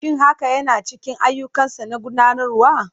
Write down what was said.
Shin hakan yana cikin ayyukansa na gudanarwa?